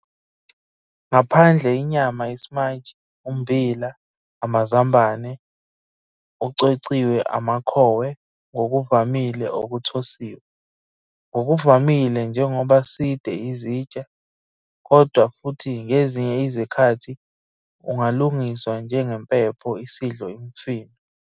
Ngaphandle inyama ismaiji, ummbila, amazambane ucwecwiwe amakhowe ngokuvamile okuthosiwe, ngokuvamile njengoba side izitsha, kodwa futhi ngezinye izikhathi ungalungiswa njengempepho isidlo imifino.